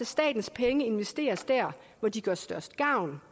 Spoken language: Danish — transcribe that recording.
statens penge investeres der hvor de gør størst gavn